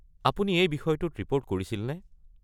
আপুনি এই বিষয়টোত ৰিপ'ৰ্ট কৰিছিল নে?